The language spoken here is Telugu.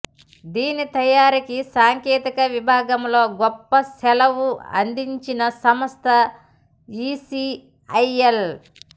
దీని తయారీకి సాంకేతిక విభాగంలో గొప్ప సేలవు అందించిన సంస్థ ఇసిఐఎల్